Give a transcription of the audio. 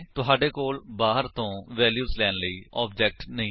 ਤੁਹਾਡੇ ਕੋਲ ਬਾਹਰ ਤੋ ਵੈਲਿਊਜ ਲੈਣ ਲਈ ਆਬਜੇਕਟ ਨਹੀਂ ਹੈ